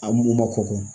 A mun ma kɔkɔ